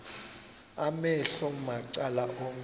amehlo macala onke